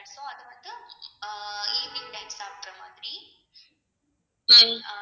ஹம்